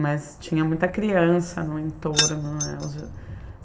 Mas tinha muita criança no entorno, né?